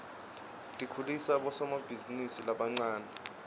tikhulisa bosomabhizinisi labancane